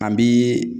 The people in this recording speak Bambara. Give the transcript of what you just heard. An bi